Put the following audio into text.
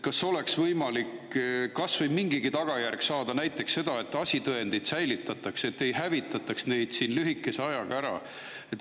Kas oleks võimalik kas või mingigi tagajärg saada, näiteks seda, et asitõendid säilitatakse, et ei hävitataks neid lühikese ajaga ära?